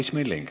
Madis Milling.